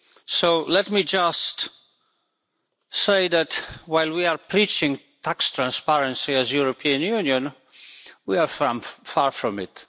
So let me just say that, while we are preaching tax transparency as the European Union, we are far from it.